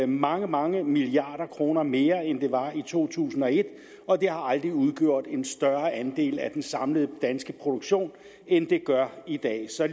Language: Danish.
mange mange milliarder kroner mere end de var i to tusind og et og de har aldrig udgjort en større andel af den samlede danske produktion end de gør i dag så